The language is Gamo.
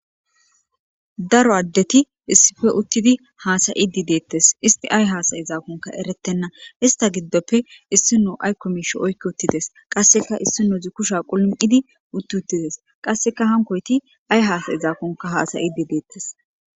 Daro addeti issife uttidi haasayi di deettes isti ay haasayi zaakonka eretenna hista giddoppe issino aykkomisho oykki uttides qasseka issinozi kusha qulm7idi utti uttides qasseka hankoyti ay haasayi zaakonka haasayidi deettes.